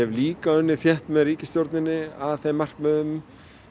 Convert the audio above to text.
líka unnið þétt með ríkisstjórninni að þeim markmiðum